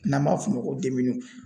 N'an b'a f'o ma ko